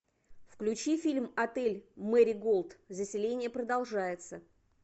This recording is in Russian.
включи фильм отель мэриголд заселение продолжается